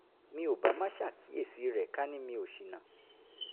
mi ò bá má ṣàkíyèsí rẹ̀ ká ní mi ò ṣìnà